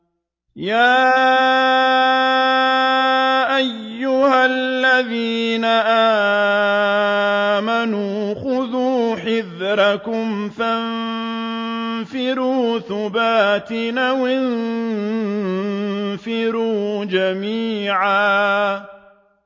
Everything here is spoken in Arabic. يَا أَيُّهَا الَّذِينَ آمَنُوا خُذُوا حِذْرَكُمْ فَانفِرُوا ثُبَاتٍ أَوِ انفِرُوا جَمِيعًا